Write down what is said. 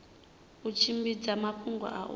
u tshimbidza mafhungo a u